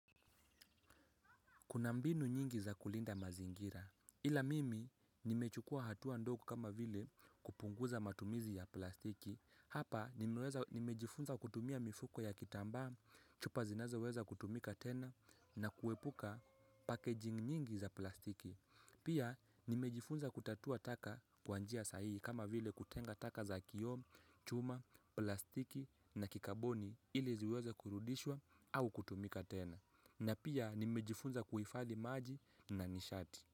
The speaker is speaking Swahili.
Kuna mbinu nyingi za kulinda mazingira, ila mimi nimechukuwa hatua ndogo kama vile kupunguza matumizi ya plastiki, hapa nimejifunza kutumia mifuko ya kitambaa, chupa zinazoweza kutumika tena na kuepuka packaging nyingi za plastiki. Pia nimejifunza kutatua taka kwa njia sahihi kama vile kutenga taka za kiyoo, chuma, plastiki na kikaboni ili ziweza kurudishwa au kutumika tena. Na pia nimejifunza kuhifadhi maji na nishati.